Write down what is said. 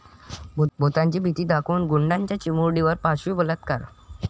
भुताची भीती दाखवून गुंडाचा चिमुरडीवर पाशवी बलात्कार